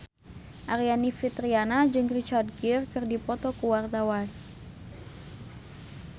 Aryani Fitriana jeung Richard Gere keur dipoto ku wartawan